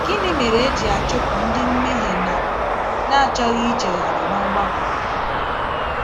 Gịnị mere e ji achụpụ ndị mmehie na na - achọghị ichegharị n’ọgbakọ?